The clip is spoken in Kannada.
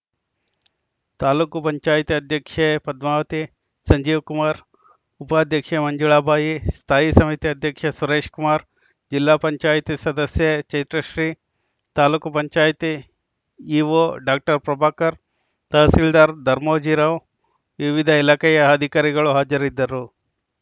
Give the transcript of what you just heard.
ತಾಲೂಕ್ ಪಂಚಾಯತ್ ಅಧ್ಯಕ್ಷೆ ಪದ್ಮಾವತಿ ಸಂಜೀವ್‌ಕುಮಾರ್‌ ಉಪಾಧ್ಯಕ್ಷೆ ಮಂಜುಳಾ ಬಾಯಿ ಸ್ಥಾಯಿ ಸಮಿತಿ ಅಧ್ಯಕ್ಷ ಸುರೇಶ್‌ಕುಮಾರ್‌ ಜಿಲ್ಲಾ ಪಂಚಾಯತ್ ಸದಸ್ಯೆ ಚೈತ್ರಶ್ರೀ ತಾಲೂಕ್ ಪಂಚಾಯತ್ ಇಒ ಡಾಕ್ಟರ್ ಪ್ರಭಾಕರ್‌ ತಹಸೀಲ್ದಾರ್‌ ಧರ್ಮೋಜಿರಾವ್‌ ವಿವಿಧ ಇಲಾಖೆಯ ಅಧಿಕಾರಿಗಳು ಹಾಜರಿದ್ದರು